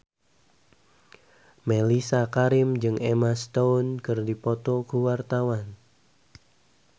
Mellisa Karim jeung Emma Stone keur dipoto ku wartawan